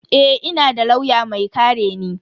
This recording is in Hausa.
Eh, ina da lauya mai kare ni.